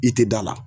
I tɛ da la